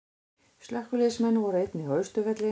Slökkviliðsmenn voru einnig á Austurvelli